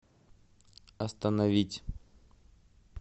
остановить